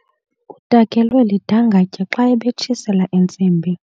Utakelwe lidangatye xa ebetshisela intsimbi.